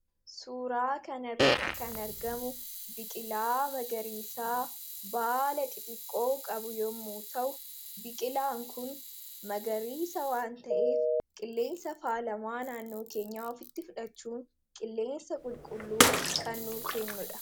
Suuraa kan irratti kan argamu biqilaa magariisaa baala qixiqqoo qabu yommuu ta'u. Biqilaan kun magariisa waan ta'eef qilleensa faalamaa naannoo keenya ofitti fudhachuun qilleensa qulqulluu kannu kennudha.